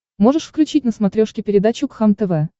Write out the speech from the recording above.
можешь включить на смотрешке передачу кхлм тв